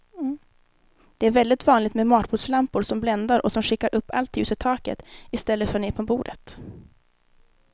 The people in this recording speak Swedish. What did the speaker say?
Det är väldigt vanligt med matbordslampor som bländar och som skickar upp allt ljus i taket i stället för ner på bordet.